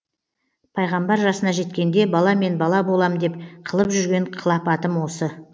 пайғамбар жасына жеткенде баламен бала болам деп қылып жүрген қылапатым осы